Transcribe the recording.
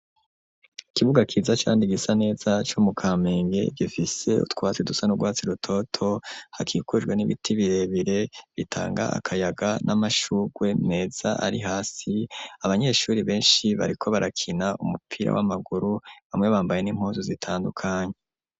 Ikibuga ciza kandi gisa neza co mu kamenge gifise utwatsi dusa n'urwatsi rutoto hakikujwe n'ibiti birebire bitanga akayaga n'amashurwe meza ari hasi abanyeshuri beshi bariko barakina umupira w'amaguru bamwe bambaye n'impuzu zitandukanye.